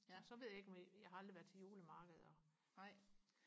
ja og så ved jeg ikke jeg har aldrig været til julemarkeder